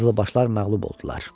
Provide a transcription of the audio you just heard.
Qızılbaşlar məğlub oldular.